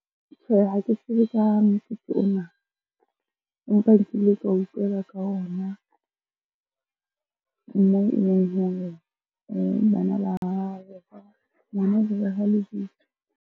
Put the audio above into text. Tjhehe, ha ke tsebe ka motsotso ona. Empa nkile ka utlwela ka ona moo e leng hore bana ngwana lebitso.